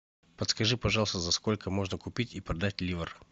подскажи пожалуйста за сколько можно купить и продать ливр